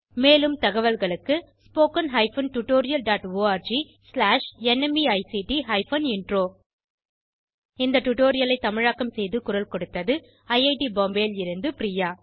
மேலும் தகவல்களுக்கு spoken hyphen tutorial dot org slash NMEICT hyphen intro இந்த டுடோரியலை தமிழாக்கம் செய்து குரல் கொடுத்தது ஐஐடி பாம்பேவில் இருந்து பிரியா